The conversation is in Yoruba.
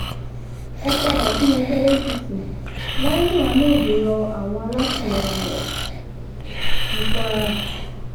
ẹ padà sínú ẹgbẹ́ apc lai muhammed ro àwọn alátìlẹyìn rẹ̀ ní kwara